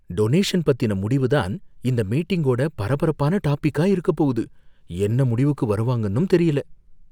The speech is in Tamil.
டொனேஷன் பத்தின முடிவுதான் இந்த மீட்டிங்கோட பரபரப்பான டாபிக்கா இருக்கப் போகுது, என்ன முடிவுக்கு வருவாங்கன்னும் தெரியல.